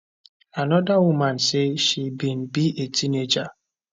anoda woman say she bin be a teenager